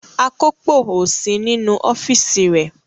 Akópò ò sí nínú ọ́fíísì rẹ̀.